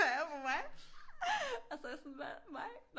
Peger på mig og så er jeg sådan hvad mig